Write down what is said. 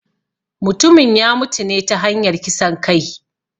Mutumin ya mutune ta hanyar kisan kai